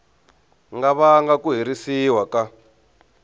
nga vanga ku herisiwa ka